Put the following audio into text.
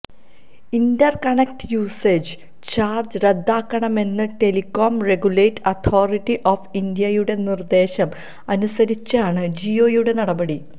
Inter connect usage charge റദ്ദാക്കണമെന്ന telecom regulatory authority of India യുടെ നിർദ്ദേശം അനുസരിച്ചാണ് ജിയോയുടെ നടപടി